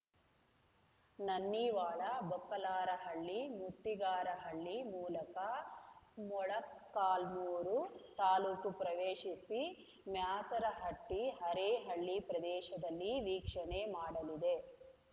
ನನ್ನಿವಾಳ ಬೊಕ್ಕಲಾರಹಳ್ಳಿ ಮುತ್ತಿಗಾರಹಳ್ಳಿ ಮೂಲಕ ಮೊಳಕಾಲ್ಮೂರು ತಾಲೂಕು ಪ್ರವೇಶಿಸಿ ಮ್ಯಾಸರಹಟ್ಟಿ ಅರೇಹಳ್ಳಿ ಪ್ರದೇಶದಲ್ಲಿ ವೀಕ್ಷಣೆ ಮಾಡಲಿದೆ